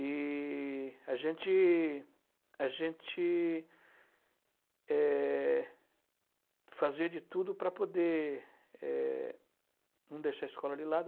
E a gente, a gente, Eh... fazia de tudo para poder eh... não deixar a escola de lado.